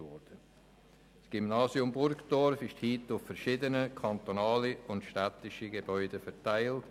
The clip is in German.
Das Gymnasium Burgdorf ist heute auf verschiedene städtische und kantonale Gebäude verteilt.